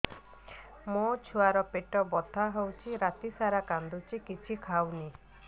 ମୋ ଛୁଆ ର ପେଟ ବଥା ହଉଚି ରାତିସାରା କାନ୍ଦୁଚି କିଛି ଖାଉନି